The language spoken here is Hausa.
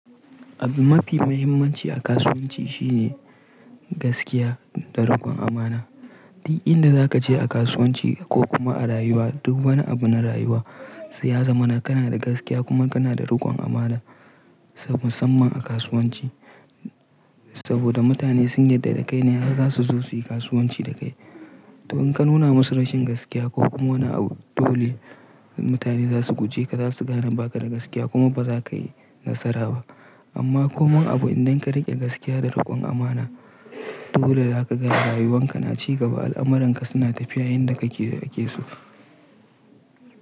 Abun mafi mahimmanci a kasuwanci shine gaskiya da rikon amana. DUK inda za ka je a kasuwanci ko kuma a rayuwa duk wani abu na rayuwa sai ya zama kana da gaskiya kuma kana da rikon amana. Musamman a kasuwanci saboda mutane sun yarda da kai ne har zasu zo su yi kasuwanci da kai. To in ka nuna masu rashin gaskiya ko kuma wani abu dole mutane zasu guje ka, zasu gane ba ka da gaskiya kuma ba za ka yi nasara ba. Amma ko wani abu idan ka riƙe gaskiya da rikon amana dole za ka ga rayuwan ka na ci gaba, al'amuran ka suna tafiya yanda kake so.